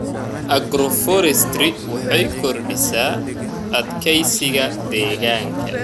Agroforestry waxay kordhisaa adkeysiga deegaanka.